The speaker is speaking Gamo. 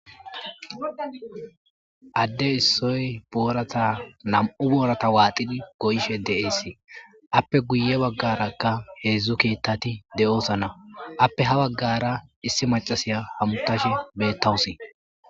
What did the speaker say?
adde issoy boorata nam7u boorata waaxidi goyishe de7eesii appe guye baggarakka heedzdzu keettati de7osana appe ha baggara issi macasiya hamutashe beettawusi